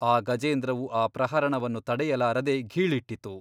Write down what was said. ಆ ಗಜೇಂದ್ರವು ಆ ಪ್ರಹರಣವನ್ನು ತಡೆಯಲಾರದೆ ಘೀಳಿಟ್ಟಿತು.